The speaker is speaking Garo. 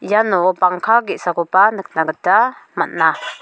iano bangka ge·sakoba nikna gita man·a.